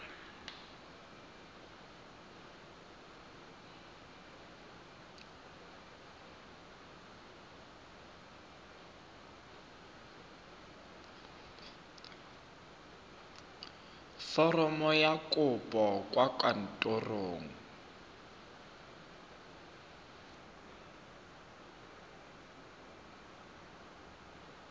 foromo ya kopo kwa kantorong